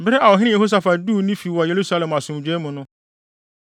Bere a ɔhene Yehosafat duu ne fi wɔ Yerusalem asomdwoe mu no,